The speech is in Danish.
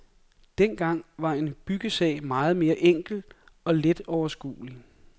Dengang var en byggesag meget mere enkel og let overskuelig.